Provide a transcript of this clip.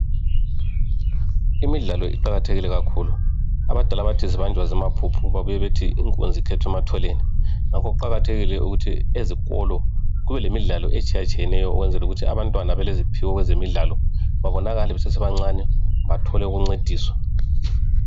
Imidlalo iqakathekile kakhulu, abadala bathi zibanjwa zimaphuphu, babuye bathi inkunzi ikhethwa ematholeni ngakho kuqakathekile ukuthi ezikolo kube lemidlalo etshiyatshiyeneyo ukwenzela ukuthi abantwana ableziphiwo kwezemidlalo babonakale basesebancane bathole lokuncediswa.